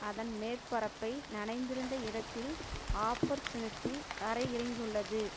அதன் மேற்பரப்பை நனைத்திருந்த இடத்தில் ஆப்பர்ச்சுனிடி அரையிறங்கியுள்ளது